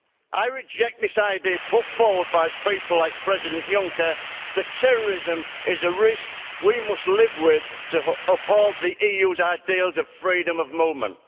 I reject this idea put forward by people like President Juncker that terrorism is a risk we must live with to uphold the EU's ideals of freedom of movement.